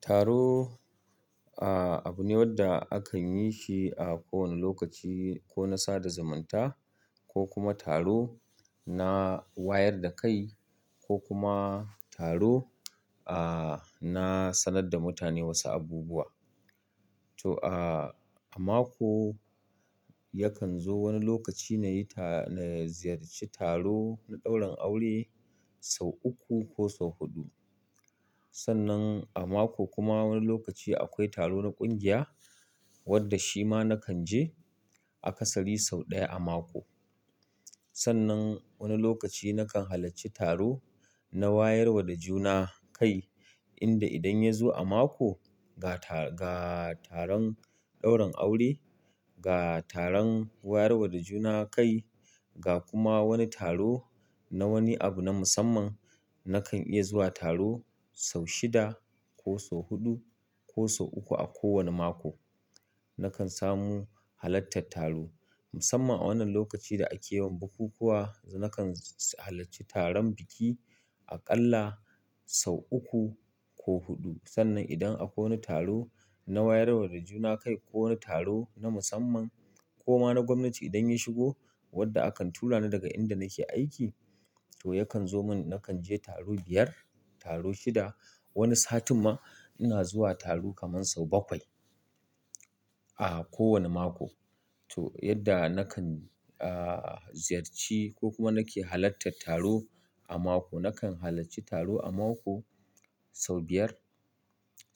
Taro, ah, abu ne wanda akan yi shi a kowane lokaci ko na sada zumanta ko kuma taro na wayar da kai ko kuma taro, ah, na sanar da mutane wasu abubuwa. To a, a mako yakan zo wani lokaci na yi ta-- na ziyarci taro na ɗaurin aure sau uku ko sau huɗu. Sannan a mako kuma wani lokaci akwai taro na ƙungiya wadda shi ma nakan je a ƙasari sau ɗaya a mako. Sannan wani lokaci nakan halarci taro na wayar wa da juna kai inda idan ya zo a mako ga ta-- ga taron ɗaurin aure, ga taron wayar wa da juna kai, ga kuma wani taro na wani abu na musamman, nakan iya zuwa taro sau shida ko sau huɗu ko sau uku a kowane mako. Nakan samu halartar taro musamman a wannan lokacin da ake wa bukukuwa, nakan halacci taron biki aƙalla sau uku ko huɗu. Sannan idan akwai wani taro na wayar wa da juna kai ko wani taro na musamman ko ma na gwamnati idan ya shigo wadda akan tura ni daga inda nake aiki, to yakan zo mun nakan je taro biyar, taro shida. Wani satin ma ina zuwa taro kaman sau bakwai a kowane mako. To yadda nakan, ah, ziyarci ko kuma nake halartar taro a mako, nakan halacci taro a mako sau biyar,